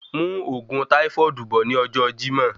Mú òògùn táífọ́ọ̀dù bọ̀ ní ọjọ Jimoh